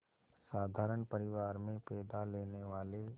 साधारण परिवार में पैदा लेने वाले